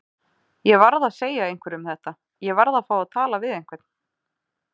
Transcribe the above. Ég varð að segja einhverjum þetta. ég varð að fá að tala við einhvern.